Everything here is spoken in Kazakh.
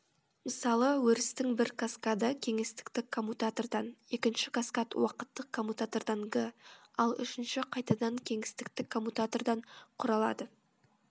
мысалы өрістің бір каскады кеңістіктік коммутатордан екінші каскад уақыттық коммутатордан г ал үшіншісі қайтадан кеңістіктік коммутатордан құралады